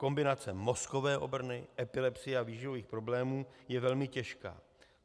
Kombinace mozkové obrny, epilepsie a výživových problémů je velmi těžká.